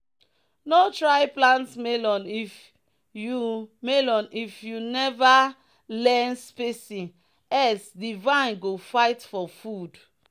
"no try plant melon if you melon if you never learn spacing else di vine go fight for food."